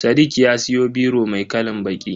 Sadiq ya siyo biro mai kalan baƙi.